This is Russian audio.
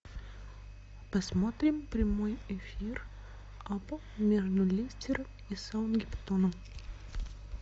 посмотрим прямой эфир апл между лестером и саутгемптоном